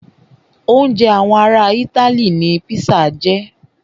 Oúnjẹ àwọn ará itály ní pizza jẹ́.